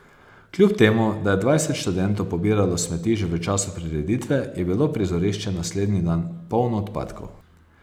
Kljub temu, da je dvajset študentov pobiralo smeti že v času prireditve, je bilo prizorišče naslednji dan polno odpadkov.